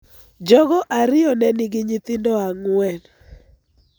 Jogo ariyo ne nigi nyithindo ang'wen.